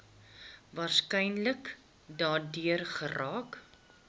waarskynlik daardeur geraak